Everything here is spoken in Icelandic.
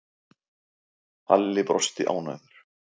Halli brosti ánægður.